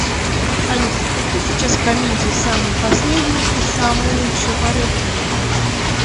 алиса какие сейчас комедии самые последние и самые лучшие по рейтингу